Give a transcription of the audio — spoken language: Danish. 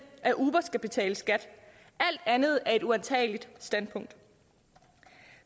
at uber skal betale skat alt andet er et uantageligt standpunkt